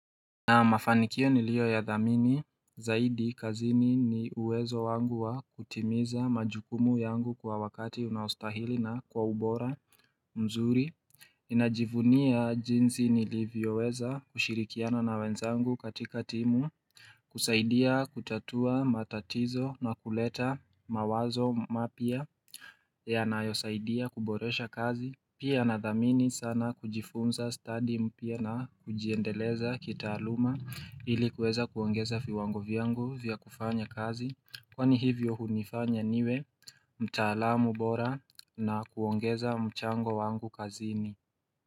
Naam mafanikio niliyoya dhamini zaidi kazini ni uwezo wangu wa kutimiza majukumu yangu kwa wakati unaostahili na kwa ubora mzuri. Ninajivunia jinzi nilivyoweza kushirikiana na wenzangu katika timu, kusaidia kutatua matatizo na kuleta mawazo mapya yanayosaidia kuboresha kazi. Pia nadhamini sana kujifunza stadi mpya na kujiendeleza kitaaluma ili kuweza kuongeza viwango vyangu vya kufanya kazi Kwani hivyo hunifanya niwe mtaalamu bora na kuongeza mchango wangu kazini.